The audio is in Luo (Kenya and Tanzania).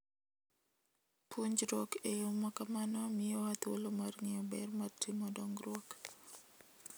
Puonjruok e yo ma kamano miyowa thuolo mar ng'eyo ber mar timo dongruok.